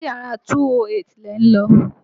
Ṣé yàrá 208 lẹ̀ ń lọ?